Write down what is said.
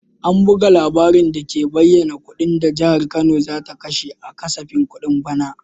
An buga labarin dake bayyana kudin da Jihar Kano za ta kashe a kasafin kudin bana.